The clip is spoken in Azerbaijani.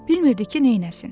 Bilmirdi ki, neynəsin.